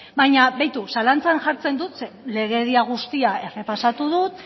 baina beitu zalantzan jartzen dut zeren legedia guztia errepasatu dut